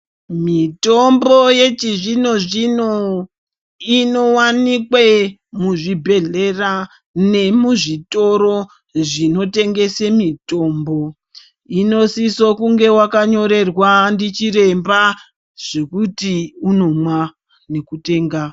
Mitombo yechizvinozvino inowanikwa muzvibhedhlera nemuzvitoro zvinotengese mitombo. Inosise kunge wakanyorerwa ndichiremba zvekuti unomwa nekutenga.